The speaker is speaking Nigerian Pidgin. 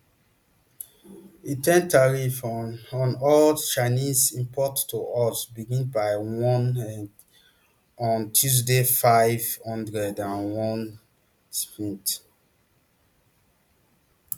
di ten tariff on on all chinese imports to us begin by one et on tuesday five hundred and one gmt